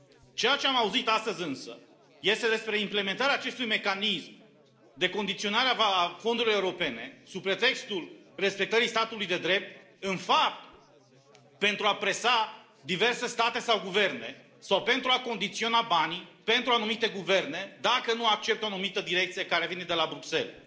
Ceea ce am auzit astăzi, însă, este despre implementarea acestui mecanism de condiționare a fondurilor europene sub pretextul respectării statului de drept, în fapt, pentru a presa diverse state sau guverne sau pentru a condiționa banii pentru anumite guverne, dacă nu acceptă o anumită direcție care vine de la Bruxelles.